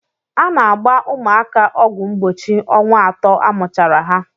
A na-agba ụmụaka ọgwụ mgbochi ọnwa atọ amụchara ha.